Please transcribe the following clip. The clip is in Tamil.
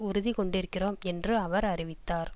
உறுதி கொண்டிருக்கிறோம் என்று அவர் அறிவித்தார்